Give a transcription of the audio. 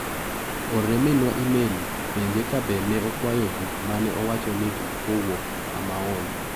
Orne minwa imel penje ka be ne okwayo buk mane awacho ne kowuok amaon.